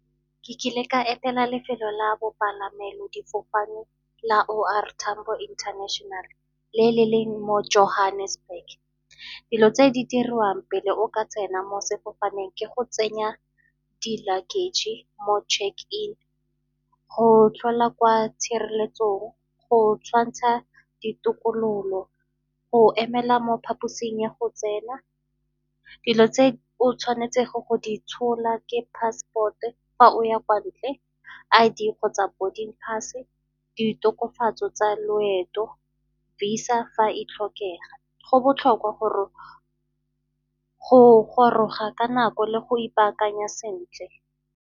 Ke kile ka etela lefelo la bopalamelo difofane la O R Tambo International le le leng mo Johannesburg. Dilo tse di diriwang pele o ka tsena mo sefofaneng ke go tsenya di-luggage mo check in, go tlhola kwa tshireletsong, go tshwantsha ditokololo, go emela mo phaposing ya go tsena. Dilo tse o tshwanetsego go di tshola ke passport-e fa o ya kwa ntle, I_D kgotsa boarding pass-e, ditokafatso tsa loeto, VISA fa e tlhokega. Go botlhokwa go goroga ka nako le go ipaakanya sentle.